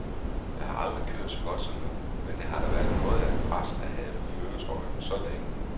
Jeg har aldrig kørt så godt som nu, men det har da været noget af et pres at have førertrøjen så længe.